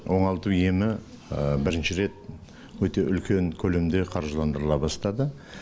оңалту емі бірінші рет өте үлкен көлемде қаржыландырыла бастады